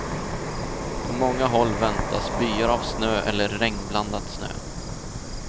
På många håll väntas byar av snö eller regnblandat snö.